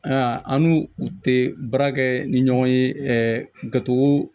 Aa an n'u u tɛ baara kɛ ni ɲɔgɔn ye ɛɛ gato